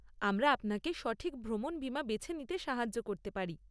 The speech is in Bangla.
আমরা আপনাকে সঠিক ভ্রমণ বিমা বেছে নিতে সাহায্য করতে পারি।